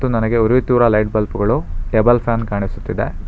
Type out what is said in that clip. ಇದು ನನಗೇ ಉರಿಯುತಿರುವ ಲೈಟ್ ಬಲ್ಪ್ ಗಳು ಟೇಬಲ್ ಫ್ಯಾನ್ ಕಾಣಿಸುತ್ತಿದೆ.